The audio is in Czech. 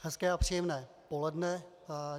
Hezké a příjemné poledne.